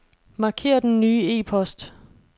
Marker den nye e-post.